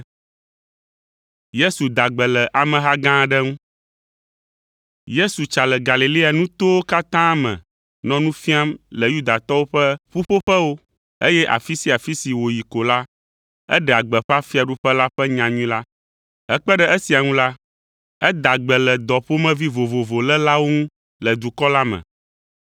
Yesu tsa le Galilea nutowo katã me nɔ nu fiam le Yudatɔwo ƒe ƒuƒoƒewo, eye afi sia afi si wòyi ko la, eɖea gbeƒã fiaɖuƒe la ƒe nyanyui la. Hekpe ɖe esia ŋu la, eda gbe le dɔ ƒomevi vovovo lélawo ŋu le dukɔ la me.